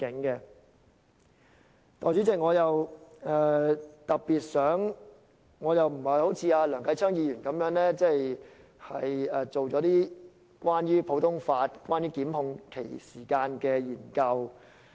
代理主席，我不像梁繼昌議員般，做了一些關於普通法和檢控時限的研究。